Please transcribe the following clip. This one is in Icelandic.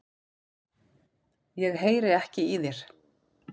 Ég heyri ekki í þér.